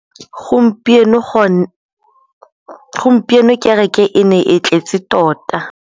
Gompieno kêrêkê e ne e tletse tota.